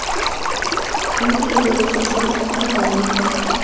Ayni paytda tergov surishtiruv ishlari olib borilmoqda.